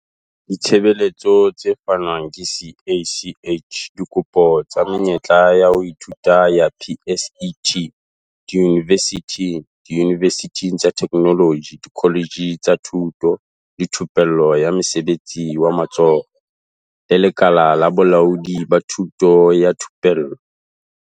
Ditshebeletso tse fanwang ke CACH Dikopo tsa menyetla ya ho ithuta ya PSET diyunivesithi, diyunivesithi tsa Theknoloji, dikoletje tsa Thuto le Thupello ya Mosebetsi wa Matsoho, le Lekala la Bolaodi ba Thuto le Thupello.